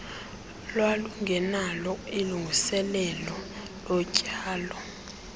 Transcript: lwalungenalo ilungiselelo lotyalo